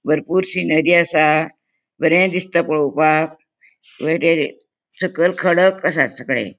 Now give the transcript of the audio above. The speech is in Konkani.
बरपुर सिनरी असा बरे दिसता पोळोवपाक सकल खडक असा सगळे.